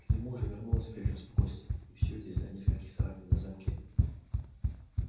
к нему уже вернулось прежнее спокойствие и всё это из-за нескольких царапин на замке